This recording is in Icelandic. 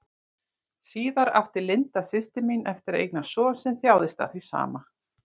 Síðar átti Linda, systir mín, eftir að eignast son sem þjáðist af því sama.